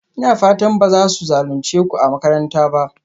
Ina fatan ba za su zalunce ku a makaranta ba?